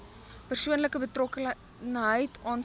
persoonlike betrokkenheid aansoekers